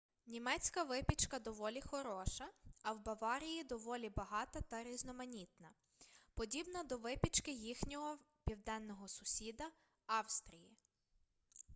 німецька випічка доволі хороша а в баварії доволі багата та різноманітна подібна до випічки їхнього південного сусіда австрії